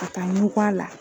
A taa n ɲɛ t'a la.